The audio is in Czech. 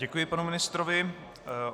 Děkuji panu ministrovi.